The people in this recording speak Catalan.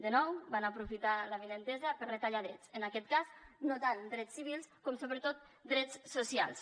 de nou van aprofitar l’avinentesa per retallar drets en aquest cas no tant drets civils com sobretot drets socials